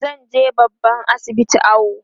zanje babban asibiti awo